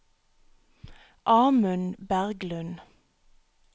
Amund Berglund